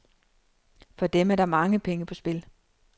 For dem er der mange penge på spil.